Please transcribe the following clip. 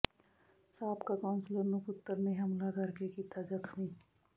ਸਾਬਕਾ ਕੌਂਸਲਰ ਨੂੰ ਪੁੱਤਰ ਨੇ ਹਮਲਾ ਕਰਕੇ ਕੀਤਾ ਜ਼ਖ਼ਮੀ